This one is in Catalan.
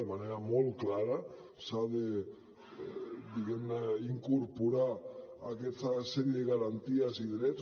de manera molt clara s’ha de diguem ne incorporar aquesta sèrie de garanties i drets